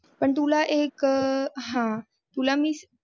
पण तुला एक हा तुला मी